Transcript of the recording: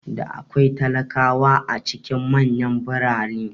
Da akwai talakawa a cikin manyan birane